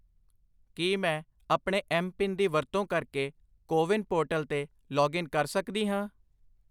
ਕੀ ਮੈਂ ਆਪਣੇ M PIN ਦੀ ਵਰਤੋਂ ਕਰਕੇ ਕੋ ਵਿਨ ਪੋਰਟਲ 'ਤੇ ਲਾਗਇਨ ਕਰ ਸਕਦੀ ਹਾਂ?